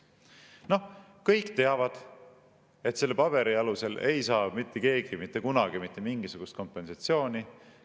Noh, kõik teavad, et selle paberi alusel ei saa mitte keegi mitte kunagi mitte mingisugust kompensatsiooni.